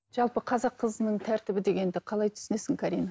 жалпы қазақ қызының тәртібі дегенді қалай түсінесің карина